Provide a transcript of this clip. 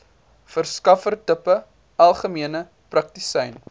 verskaffertipe algemene praktisyn